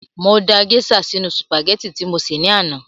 Mo da gèésà sínu sùpàgẹ́tì tí mo sè ní àná